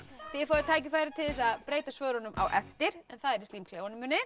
þið fáið tækifæri til þess að breyta svörunum á eftir það er í